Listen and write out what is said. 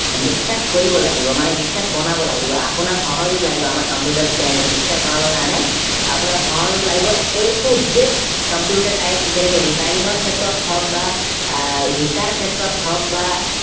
বিখ্যাত কৰিব লাগিব মানে বিখ্যাত বনাব লাগিব অপোনাৰ সহযোগ লাগিব আমাৰ computer channel টো বিখ্যাত বনাব কাৰণে আপোনাৰ সহযোগ লাগিব AtoZcomputer type যেনেকে repairing ৰ ক্ষেত্ৰত হওক বা আহ শিকাৰ ক্ষেত্ৰত হওক বা